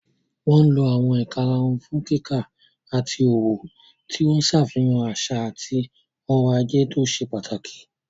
Wọ́n lo àwọn ìkarahun fún kíkà àti òwò, tí ó ń ṣàfihàn àṣà àti ọrọ̀ ajé tó ṣe pàtàkì.